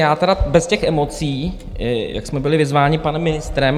Já tedy bez těch emocí, jak jsme byli vyzváni panem ministrem.